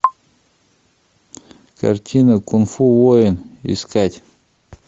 картина кунг фу воин искать